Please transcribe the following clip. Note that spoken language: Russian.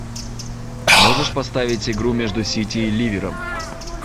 можешь поставить игру между сити и ливером